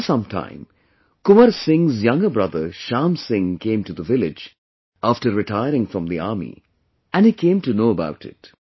After some time, Kunwar Singh's younger brother Shyam Singh came to the village after retiring from the army, and he came to know about it